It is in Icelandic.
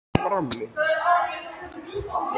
Væntingar og draumar, ótti og óvissa.